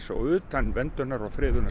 og utan verndunar og